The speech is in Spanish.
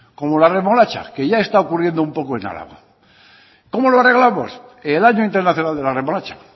como la remolacha que ya está ocurriendo un poco en álava cómo lo arreglamos el año internacional de la remolacha